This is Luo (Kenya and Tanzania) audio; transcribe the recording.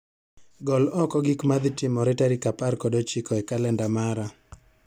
Gol oko gik ma dhi timore tarik apar kod ochiko e kalenda mara.